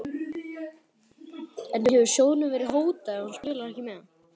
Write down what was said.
En hefur sjóðnum verið hótað ef hann spilar ekki með?